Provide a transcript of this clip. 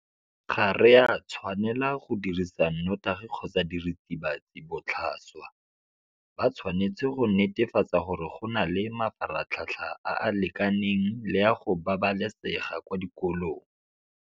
Ga re a tshwanela go dirisa nnotagi kgotsa diritibatsi botlhaswa. Ba tshwanetse go netefatsa gore go na le mafaratlhatlha a a lekaneng le a go babalesega kwa dikolong.